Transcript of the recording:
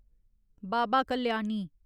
Baba Kalyani